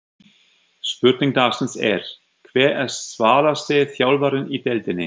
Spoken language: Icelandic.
Spurning dagsins er: Hver er svalasti þjálfarinn í deildinni?